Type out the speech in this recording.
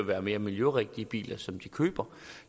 være mere miljørigtige biler som de køber